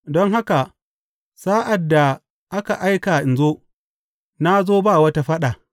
Don haka sa’ad da aka aika in zo, na zo ba wata faɗa.